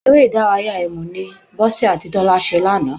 Eré ìdárayá ẹ̀mù ni Bọ́sẹ̀ àti Tọ́lá ṣe lánàá